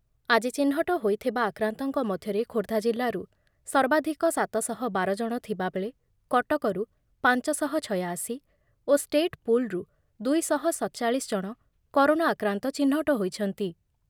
ଆଜି ଚିହ୍ନଟ ହୋଇଥିବା ଆକ୍ରାନ୍ତଙ୍କ ମଧ୍ୟରେ ଖୋର୍ଦ୍ଧା ଜିଲ୍ଲାରୁ ସର୍ବାଧିକ ସାତ ଶହ ବାର ଜଣ ଥିବାବେଳେ କଟକରୁ ପାଞ୍ଚଶହ ଛୟାଅଶି ଓ ଷ୍ଟେଟପୁଲରୁ ଦୁଇଶହ ସତଚାଳିଶଜଣ କରୋନା ଆକ୍ରାନ୍ତ ଚିହ୍ନଟ ହୋଇଛନ୍ତି